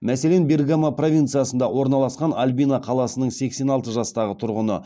мәселен бергамо провинциясында орналасқан альбино қаласыныңсексен алты жастағы тұрғыны